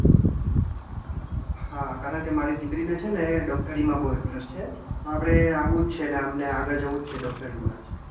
હા, કારણકે મારી દીકરી ને છે ને ડૉક્ટરીમાં બહુ interest છે. આપણે આવું જ છે ને આમ ને આગળ જવું છે ડૉક્ટરીમા જ.